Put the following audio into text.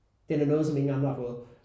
Den er noget som ingen andre har fået